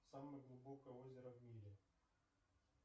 самое глубокое озеро в мире